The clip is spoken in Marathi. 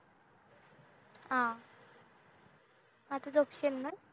हा आता झोपशील ना